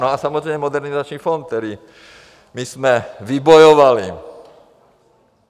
No a samozřejmě Modernizační fond, který my jsme vybojovali.